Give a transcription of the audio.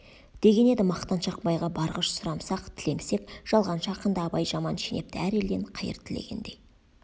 деген еді мақтаншақ байға барғыш сұрамсақ тілемсек жалғаншы ақынды абай жаман шенепті әр елден қайыр тілегендей